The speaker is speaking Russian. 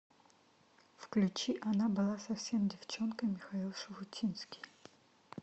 включи она была совсем девчонкой михаил шуфутинский